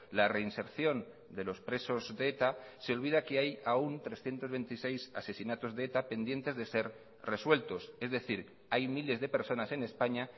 la reinserción de los presos de eta se olvida que hay aún trescientos veintiséis asesinatos de eta pendientes de ser resueltos es decir hay miles de personas en españa